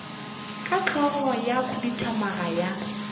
ka hlogo ya khuduthamaga ya